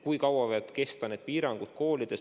Kui kaua võivad kesta need piirangud koolides?